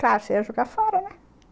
Claro, você ia jogar fora, né?